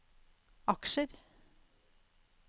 aksjer